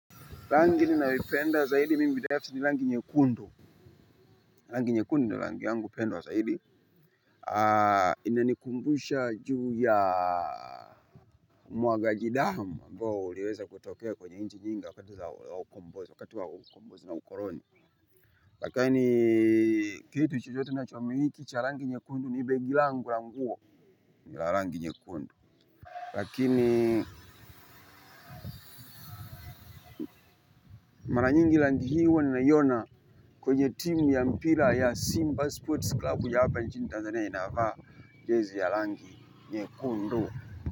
Rangi ninayoi penda zaidi mimi binafsi ni rangi nyekundu. Rangi nyek undu ndio rangi yangu pendwa zaidi. Inanikumbusha juu ya muagaji damu. Amboa uliweza kutokea kwenye nchi nyingi wakati wa ukombozi na ukoloni. Lakini kitu chochote ninachomiliki cha rangi nyekundu ni begi langu ni nguo. Nila rangi nyekundu. Lakini mara nyingi rangi hii huwa ninaiona kwenye timu ya mpira ya Simba Sports Club. Kuyapa nchini tanzania inavaa jezi ya rangi yekundu.